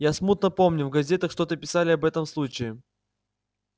я смутно помню в газетах что-то писали об этом случае